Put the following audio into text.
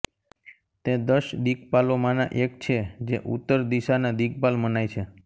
તે દશ દિક્પાલોમાંનાં એક છે જે ઉત્તરદિશાનાં દિક્પાલ મનાય છે